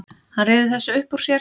Hann ryður þessu upp úr sér.